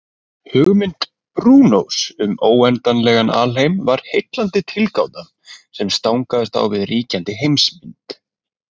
Hugmynd Brúnós um óendanlegan alheim var heillandi tilgáta sem stangaðist á við ríkjandi heimsmynd.